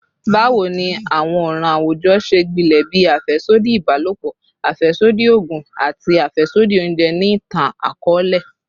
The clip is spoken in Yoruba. Bawo ni awọn ọran awujọ ṣe gbilẹ bii afẹsodi ibalopọ, afẹsodi oogun, ati afẹsodi ounjẹ ni itan-akọọlẹ?